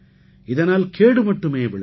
இதனால் கேடு மட்டுமே விளையும்